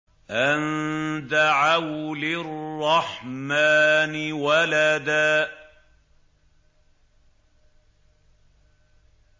أَن دَعَوْا لِلرَّحْمَٰنِ وَلَدًا